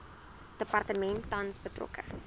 departement tans betrokke